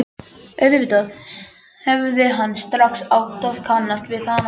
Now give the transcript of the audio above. Auðvitað hefði hann strax átt að kannast við hana.